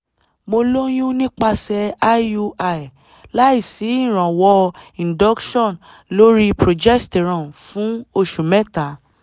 mo lóyún nípasẹ̀ iui láìsí ìrànwọ́ induction lórí progestrone fún oṣù mẹta